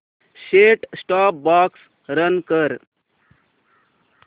set top box run कर